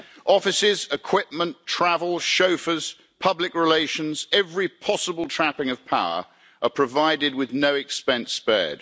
Offices, equipment, travel, chauffeurs, public relations, every possible trapping of power, provided with no expense spared.